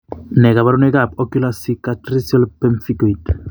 Nee kabarunoikab Ocular Cicatricial Pemphigoid?